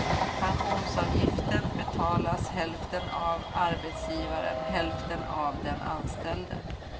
Pensionsavgiften betalas hälften av arbetsgivaren, hälften av den anställde.